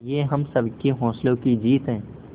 ये हम सबके हौसलों की जीत है